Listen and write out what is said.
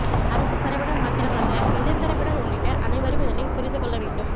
அரச தரப்பினர் மாத்திரமல்ல எதிர்தரப்பினர் உள்ளிட்ட அனைவரும் இதனைப் புரிந்து கொள்ள வேண்டும்